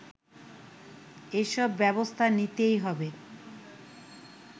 এসব ব্যবস্থা নিতেই হবে